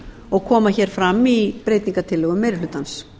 og koma hér fram í breytingartillögum meiri hlutans